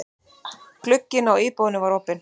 Glugginn á íbúðinni var opinn.